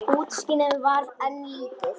Útsýnið var enn lítið.